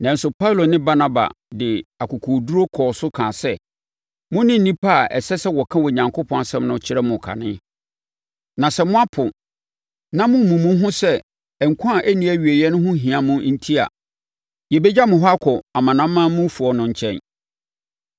Nanso, Paulo ne Barnaba de akokoɔduru kɔɔ so kaa sɛ, “Mone nnipa a ɛsɛ sɛ wɔka Onyankopɔn asɛm no kyerɛ mo kane. Na sɛ moapo, na mommu mo ho sɛ nkwa a ɛnni awieeɛ ho hia mo enti a, yɛbɛgya mo hɔ akɔ amanamanmufoɔ no nkyɛn.